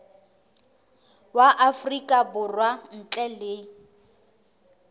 wa afrika borwa ntle le